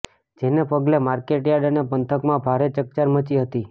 જેને પગલે માર્કેટયાર્ડ અને પંથકમાં ભારે ચકચાર મચી હતી